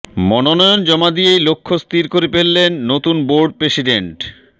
মনোনয়ন জমা দিয়েই লক্ষ্য স্থির করে ফেললেন নতুন বোর্ড প্রেসিডেন্ট